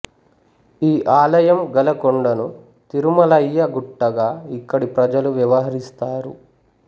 ఈ ఆలయం గల కొండను తిరుమలయ్య గుట్టగా ఇక్కడి ప్రజలు వ్యవహరిస్తారు